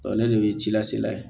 ne n'o ye ci lase la ye